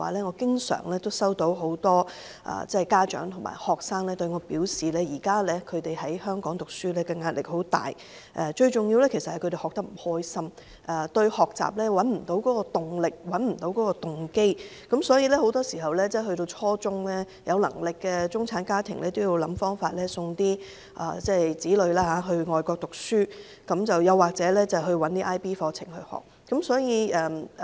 我想說的是，很多家長和學生經常向我表示，現時在香港讀書壓力很大，最重要的是學生學得不開心，找不到學習動力和動機，所以到了初中階段，有能力的中產家長都想辦法送子女到外國讀書或讓他們修讀 IB 課程。